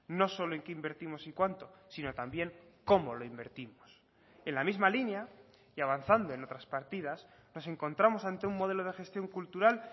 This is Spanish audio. no solo en qué invertimos y cuánto sino también como lo invertimos en la misma línea y avanzando en otras partidas nos encontramos ante un modelo de gestión cultural